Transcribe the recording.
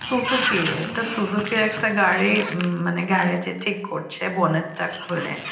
Suzuki একটা Suzuki একটা গাড়ি উম মানে গ্যারেজ -এ ঠিক করছে বোনেট -টা খুলে।